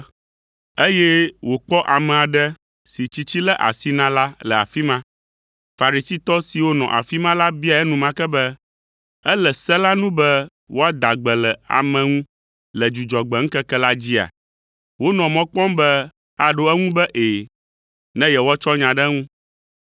eye wòkpɔ ame aɖe si tsitsi lé asi na la le afi ma. Farisitɔ siwo nɔ afi ma la biae enumake be, “Ele se la nu be woada gbe le ame ŋu le Dzudzɔgbe ŋkeke la dzia?” Wonɔ mɔ kpɔm be aɖo eŋu be “Ɛ̃,” ne yewoatsɔ nya ɖe eŋu.